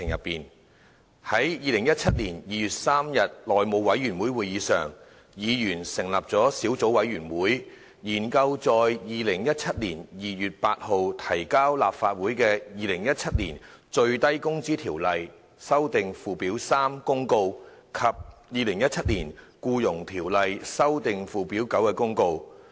在2017年2月3日內務委員會會議上，議員成立了小組委員會，研究在2017年2月8日提交立法會的《2017年最低工資條例公告》及《2017年僱傭條例公告》。